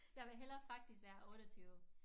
Jeg vil hellere faktisk være 28